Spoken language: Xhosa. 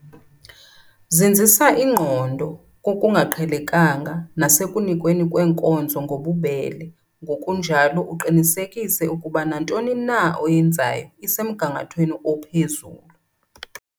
Zinzisa ingqondo kokungaqhelekanga nasekunikweni kweenkonzo ngobubele ngokunjalo uqinisekise ukuba nantoni na oyenzayo isemgangathweni ophezulu.